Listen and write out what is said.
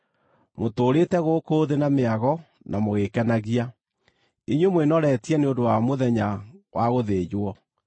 Mũtũũrĩte gũkũ thĩ na mĩago na mũgĩĩkenagia. Inyuĩ mwĩnoretie nĩ ũndũ wa mũthenya wa gũthĩnjwo.